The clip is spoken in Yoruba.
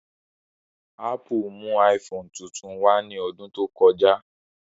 Ápù mú iPhone tuntun wá ní ọdún tó kọjá